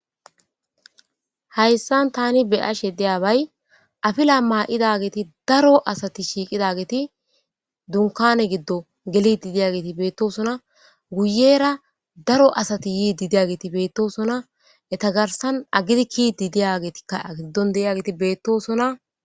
Hayisan ta be'ashe dizayis afila mayida geti daro asati shiqida geti dunikane gidon gelidi daya geti betesona guyera daro asati yididaya geti betesona eta garisan agidi kiididay geti betesona